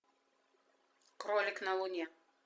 кролик на луне